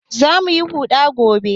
Za mu yi huɗa gobe